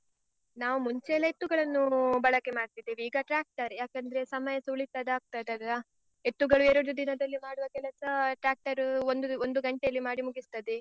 ನಾವು ಮುಂಚೆ ಎಲ್ಲ ಎತ್ತುಗಳನ್ನು ಬಳಕೆ ಮಾಡ್ತಿದ್ವಿ, ಈಗ tractor ಯೇ. ಯಾಕಂದ್ರೆ ಸಮಯಸ ಉಳಿತಾದ ಆಗ್ತದಲ್ಲ. ಎತ್ತುಗಳು ಎರಡು ದಿನದಲ್ಲಿ ಮಾಡುವ ಕೆಲಸ tractor ಒಂದು ಒಂದು ಗಂಟೆಯಲ್ಲಿ ಮಾಡಿ ಮುಗಿಸ್ತದೆ.